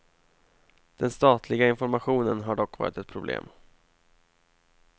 Den statliga informationen har dock varit ett problem.